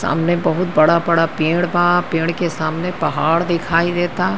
सामने बड़ा बड़ा पेड़ बा। पेड़ के सामने पहाड़ दिखाई देता।